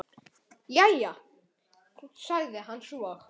Jæja, sagði hann svo.